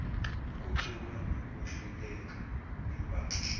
kuxuba nokwehluleka imbala